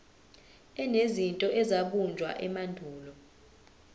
enezinto ezabunjwa emandulo